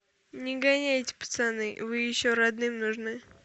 не гоняйте пацаны вы еще родным нужны